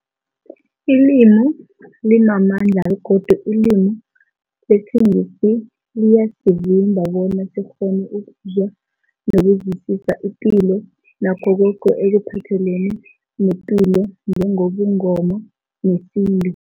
Ilimi limamandla begodu ilimi lesiNgisi liyasivimba bona sikghone ukuzwa nokuzwisisa ipilo nakho koke ekuphathelene nepilo njengobuNgoma nesintu.